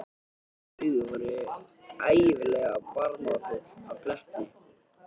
Græn augun voru ævinlega barmafull af glettni.